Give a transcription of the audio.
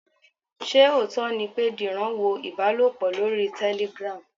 Ṣé òótọ́ ni pé Dìran wo ìbálòpọ̀ lórí Telegram?